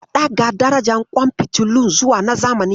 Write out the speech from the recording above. Ka ɗaga darajar ƙwan fitilun zuwa na zamani.